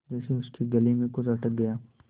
जैसे उसके गले में कुछ अटक गया